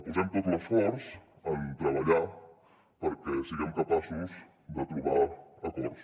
posem tot l’esforç en treballar perquè siguem capaços de trobar acords